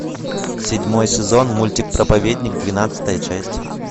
седьмой сезон мультик проповедник двенадцатая часть